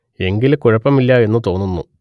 എങ്കിൽ കുഴപ്പം ഇല്ല എന്നു തോന്നുന്നു